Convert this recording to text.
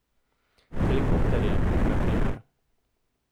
Helikopterje, na primer.